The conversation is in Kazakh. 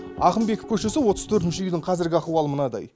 ақынбеков көшесі отыз төртінші үйдің қазіргі ахуалы мынадай